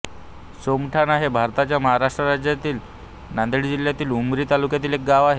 सोमठाणा हे भारताच्या महाराष्ट्र राज्यातील नांदेड जिल्ह्यातील उमरी तालुक्यातील एक गाव आहे